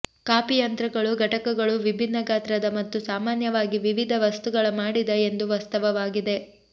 coffee ಯಂತ್ರಗಳು ಘಟಕಗಳು ವಿಭಿನ್ನ ಗಾತ್ರದ ಮತ್ತು ಸಾಮಾನ್ಯವಾಗಿ ವಿವಿಧ ವಸ್ತುಗಳ ಮಾಡಿದ ಎಂದು ವಾಸ್ತವವಾಗಿ